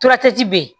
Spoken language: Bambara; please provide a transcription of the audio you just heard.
be yen